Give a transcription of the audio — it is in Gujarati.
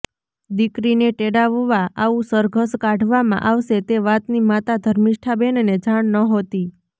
દીકરીને તેડાવવા આવું સરઘસ કાઢવામાં આવશે તે વાતની માતા ધર્મિષ્ઠાબેનને જાણ નહોતી